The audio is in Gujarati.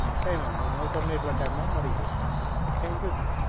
કઈ વાંધો નહીં, હવે હું તમને એટલા time માં મળી જઈશ. thank you, sir.